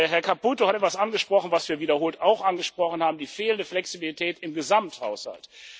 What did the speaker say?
Herr Caputo hat etwas angesprochen, was wir wiederholt auch angesprochen haben die fehlende Flexibilität im Gesamthaushalt.